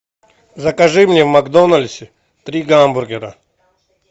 закажи мне в макдональдсе три гамбургера